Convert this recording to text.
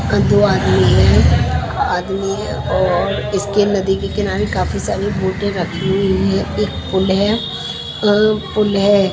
अ दो आदमी हैं आदमी और इसके नदी के किनारे काफी सारी बोटे रखी हुई है एक पुल है अ पुल है।